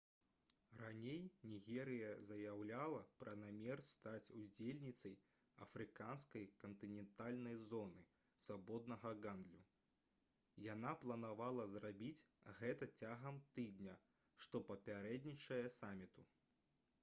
раней нігерыя заяўляла пра намер стаць удзельніцай афрыканскай кантынентальнай зоны свабоднага гандлю яна планавала зрабіць гэта цягам тыдня што папярэднічае саміту